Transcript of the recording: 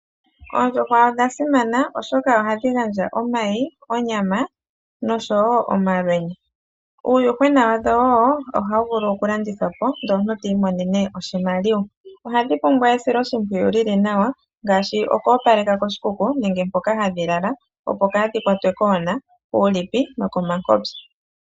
Oondjuhwa odha simana oshoka oha dhi gandja omayi, onyama, nosho woo omalwenya. Uuyuhwena wadho woo oha wu vulu oku landithwa po ndele omuntu ti imonene oshimaliwa. Oha dhi pumbwa esilo shimpwiyu lili nawa ngaashi, oku opaleka koshikuku nenge mpoka ha dhi lala opo kaadhi kwatwe koona, kuulipi nokomankopyo.